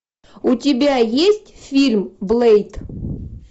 у тебя есть фильм блэйд